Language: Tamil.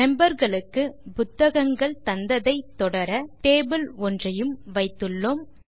மெம்பர் களுக்கு புத்தகங்கள் தந்ததை தொடர டேபிள் ஒன்றையும் வைத்துள்ளோம்